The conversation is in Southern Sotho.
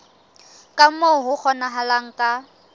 ka moo ho kgonahalang ka